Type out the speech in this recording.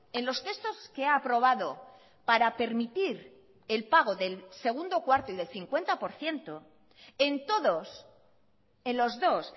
en los textos que ha aprobado para permitir el pago del segundo cuarto y del cincuenta por ciento en todos en los dos